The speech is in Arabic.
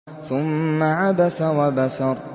ثُمَّ عَبَسَ وَبَسَرَ